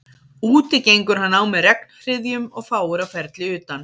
Úti gengur hann á með regnhryðjum og fáir á ferli utan